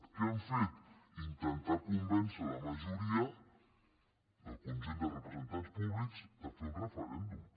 què han fet intentar convèncer la majoria del conjunt de representants públics de fer un referèndum